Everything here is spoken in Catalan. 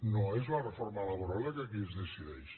no és la reforma laboral la que aquí es decideix